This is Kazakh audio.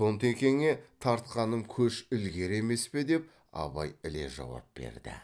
тонтекеңе тартқаным көш ілгері емес пе деп абай іле жауап берді